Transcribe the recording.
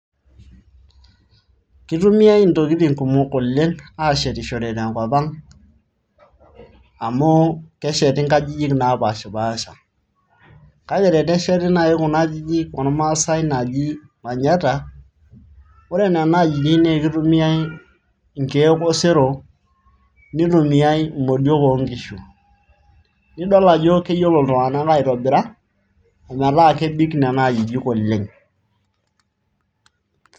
Kitumiyai intokitin kumok oleng' aashetishore te enkop ang' amu kesheti inkajijik naapashipaasha. Kake tenesheti naai kuna ajijik ormaasai naaji manyatta, ore nena ajijik naa ekitumiyai inkeek osero nitumiyai imodiok oonkishu nidol ajo keyiolo iltung'anak aitobira ometaa kebik nena ajijik oleng.